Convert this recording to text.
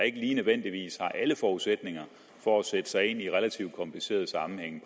ikke lige nødvendigvis har alle forudsætninger for at sætte sig ind i relativt komplicerede sammenhænge